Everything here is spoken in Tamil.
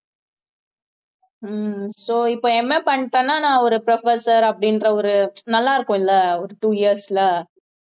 ஹம் so இப்ப MA என்ன பண்ணிட்டேன்னா நான் ஒரு professor அப்படின்ற ஒரு நல்லா இருக்கும்ல ஒரு two years ல